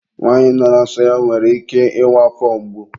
nwanyị nọ na nsọ ya nwere ike ịnwe afọ mgbu.